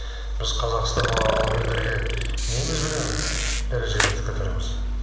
біз қазақстанның алып елдерге немізбенен дәрежемізді көтереміз